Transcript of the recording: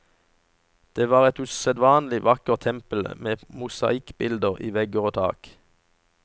Det var et usedvanlig vakkert tempel med mosaikkbilder i vegger og tak.